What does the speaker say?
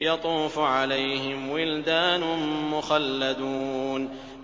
يَطُوفُ عَلَيْهِمْ وِلْدَانٌ مُّخَلَّدُونَ